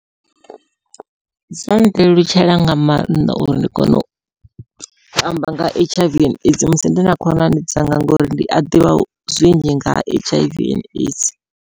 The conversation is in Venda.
Zwo ndelutshela nga mannḓa uri ndi kone u amba nga H_I_V and AIDS musi ndi na khonani dzanga, ngori ndi a ḓivha zwinzhi nga ha H_I_V and AIDS.